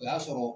O y'a sɔrɔ